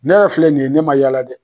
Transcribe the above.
Ne yɛrɛ filɛ nin ye, ne ma yala dɛ!